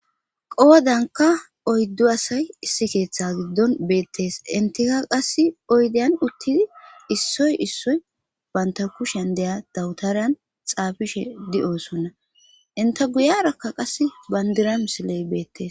qoodanka oyddu asay issi keeththa giddon beettees intika qass oydeyan uttidi issoy issoy baynta kushen deya dawutariyan xaafishe di7osonna inta guyarakka qas bandira misiley beettes